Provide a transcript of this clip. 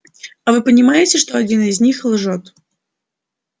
а вы понимаете что один из них лжёт